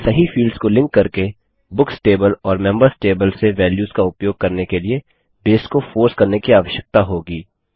हमें सही फील्ड्स को लिंक करके बुक्स टेबल और मेम्बर्स टेबल से वेल्यूस का उपयोग करने के लिए बेस को फोर्स करने की आवश्यकता होगी